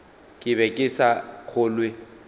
ke be ke sa kgolwe